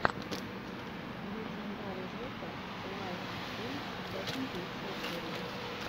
лэджендари жека лайнэйдж сэконд лучшая серия